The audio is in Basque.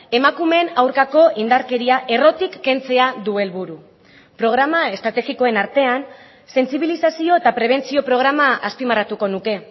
emakumeen aurkako indarkeria errotik kentzea du helburu programa estrategikoen artean sentsibilizazio eta prebentzio programa azpimarratuko nuke